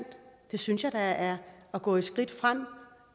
det synes jeg da er at gå et skridt fremad